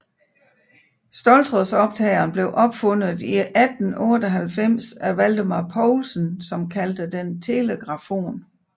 Ståltrådsoptageren blev opfundet i 1898 af Valdemar Poulsen som kaldte den telegrafon